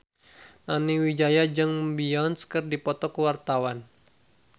Nani Wijaya jeung Beyonce keur dipoto ku wartawan